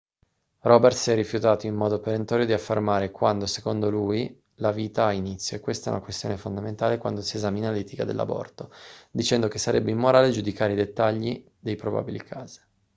roberts si è rifiutato in modo perentorio di affermare quando secondo lui la vita ha inizio è questa una questione fondamentale quando si esamina l'etica dell'aborto dicendo che sarebbe immorale giudicare i dettagli dei probabili casi